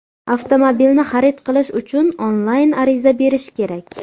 Avtomobilni xarid qilish uchun onlayn ariza berish kerak.